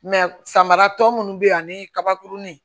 samara tɔ munnu bɛ yen ani kabakurunin